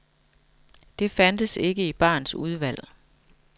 Det fandtes ikke i barens udvalg.